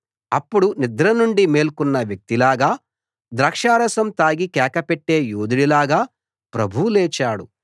అప్పుడు నిద్ర నుండి మేల్కొన్న వ్యక్తిలాగా ద్రాక్షరసం తాగి కేకపెట్టే యోధుడిలాగా ప్రభువు లేచాడు